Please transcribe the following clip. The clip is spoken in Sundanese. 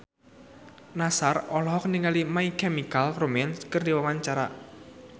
Nassar olohok ningali My Chemical Romance keur diwawancara